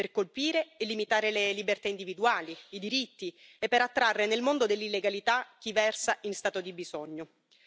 per colpire e limitare le libertà individuali, i diritti e per attrarre nel mondo dell'illegalità chi versa in stato di bisogno.